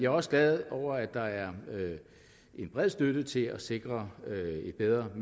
også glad for at der er en bred støtte til at sikre et bedre og